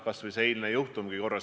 Kas või see eilne juhtumgi.